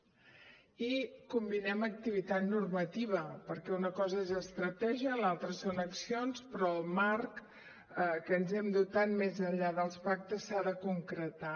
i combinem activitat normativa perquè una cosa és estratègia l’altra són accions però el marc de què ens hem dotat més enllà dels pactes s’ha de concretar